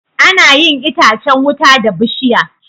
Anayin itacan wuta da bishiya